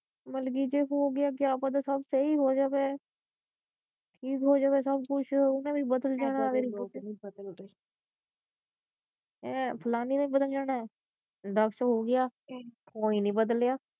ਮਤਲਬ ਜੇ ਹੋਗਿਆ ਕਿਆ ਪਤਾ ਸਭ ਸਹੀ ਹੋ ਜਾਵੇ ਠੀਕ ਹੋ ਜਾਵੇ ਸਭ ਕੁਛ ਉਹ ਕਹਿੰਦੀ ਬਦਲ ਜਾਣਾ ਹੈਂ ਫਲਾਣੀ ਨੇ ਬਦਲ ਜਾਣਾ ਦਸ ਹੋਗਿਆ ਕੋਈ ਨਹੀਂ ਬਦਲਿਆ।